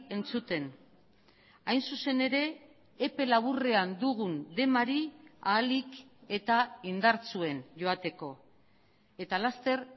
entzuten hain zuzen ere epe laburrean dugun demari ahalik eta indartsuen joateko eta laster